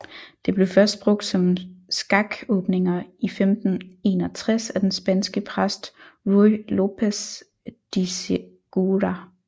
Det blev først brugt om skakåbninger i 1561 af den spanske præst Ruy López de Segura